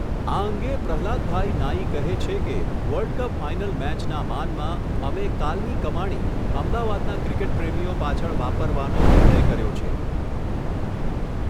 આ અંગે પ્રહલાદભાઇ નાઇ કહે છે કે, વર્લ્ડ કપ ફાઇનલ મેચના માનમાં, અમે કાલની કમાણી, અમદાવાદના ક્રિકેટ પ્રેમીઓ પાછળ વાપરવાનો નિર્ણય કર્યો છે.